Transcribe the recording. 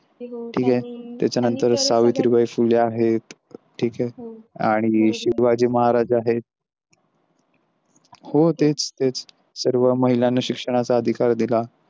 ठीक आहे त्याच्यानंतर सावित्रीबाई फुले आहेत ठीक आहे आणि शिवाजी महाराज आहे हो तेच तेच सर्व महिलांना शिक्षणाचा अधिकार दिला.